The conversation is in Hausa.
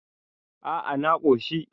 a a na koshi